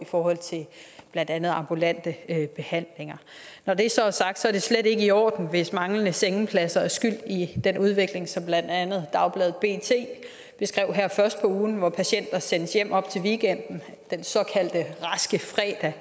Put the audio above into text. forhold til blandt andet ambulante behandlinger når det så er sagt er det slet ikke i orden hvis manglende sengepladser er skyld i den udvikling som blandt andet dagbladet bt beskrev her først på ugen hvor patienter sendes hjem op til weekenden den såkaldte raske fredag